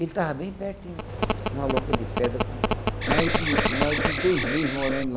Ele tava bem pertinho, numa loca de pedra, com mais de mais de dois meses morando lá.